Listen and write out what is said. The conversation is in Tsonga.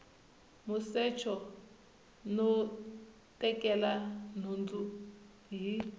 musecho no tekela nhundzu hi